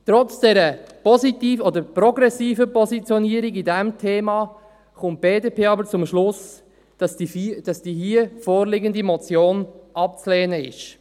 Trotz dieser progressiven Positionierung zu diesem Thema kommt die BDP aber zum Schluss, dass die hier vorliegende Motion abzulehnen ist.